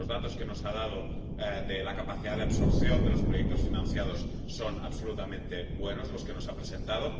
los datos que nos ha dado de la capacidad de absorción de los proyectos financiados son absolutamente buenos —los que nos ha presentado—.